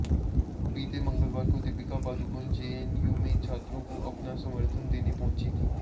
बीते मंगलवार को दीपिका पादुकोण जेएनयू में छात्रों को अपना समर्थन देने पहुंचीं थी